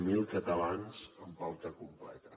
zero catalans amb pauta completa